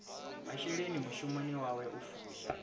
masheleni mushumoni wawe u fusha